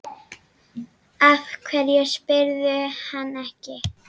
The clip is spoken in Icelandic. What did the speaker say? Af hverju spyrðu hann ekki?